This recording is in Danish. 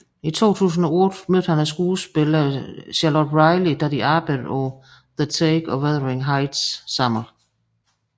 I 2008 mødte han skuespilleren Charlotte Riley da de arbejdede på The Take og Wuthering Heights sammen